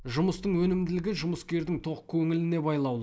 жұмыстың өнімділігі жұмыскердің тоқ көңіліне байлаулы